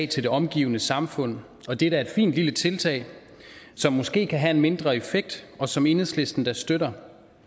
til det omgivende samfund og det er da et fint lille tiltag som måske kan have en mindre effekt og som enhedslisten da støtter